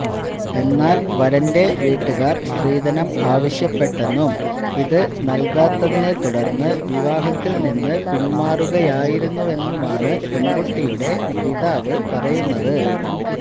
എന്നാല് വരന്റെ വീട്ടുകാര് സ്ത്രീധനം ആവശ്യപ്പെട്ടെന്നും ഇത് നല്കാത്തതിനെ തുടര്ന്ന് വിവാഹത്തില് നിന്ന് പിന്മാറുകയായിരുന്നുവെന്നുമാണ് പെണ്കുട്ടിയുടെ പിതാവ് പറയുന്നത്